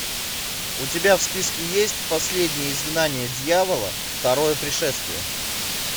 у тебя в списке есть последнее изгнание дьявола второе пришествие